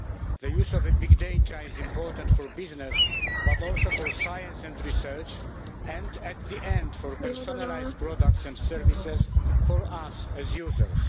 The use of big data is important for business but also for science and research, and in the end for personalised products and services for us as users.